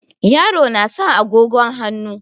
Yaro na sa agogon hannu.